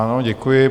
Ano, děkuji.